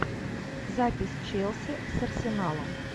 запись челси с арсеналом